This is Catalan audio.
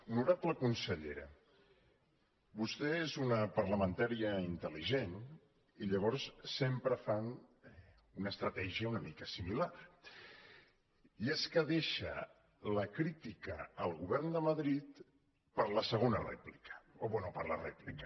honorable consellera vostè és una parlamentària intelestratègia una mica similar i és que deixa la crítica al govern de madrid per a la segona rèplica o bé per a la rèplica